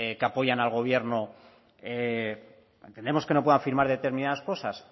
que apoyan al gobierno entendemos que no puedan firmar determinadas cosas